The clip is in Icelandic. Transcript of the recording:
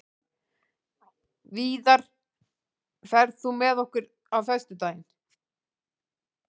Víðar, ferð þú með okkur á föstudaginn?